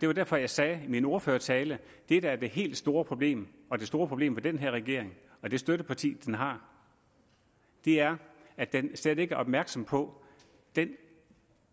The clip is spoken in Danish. det var derfor jeg sagde i min ordførertale at det der er det helt store problem og det store problem ved den her regering og det støtteparti den har er at den slet ikke er opmærksom på den